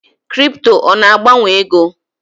Kripto ọ na-agbanwe ego?